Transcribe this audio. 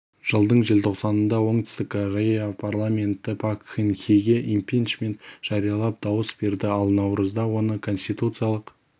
жылдың желтоқсанында оңтүстік корея парламенті пак кын хеге импичмент жариялап дауыс берді ал наурызда оны конституциялық